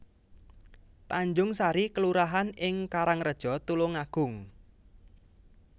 Tanjungsari kelurahan ing Karangreja Tulungagung